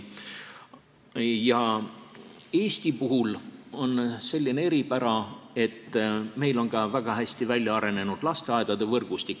Eestis on selline eripära, et meil on ka väga hästi väljaarenenud lasteaedade võrgustik.